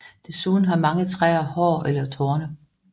Desuden har mange træer hår eller torne